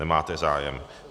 Nemáte zájem.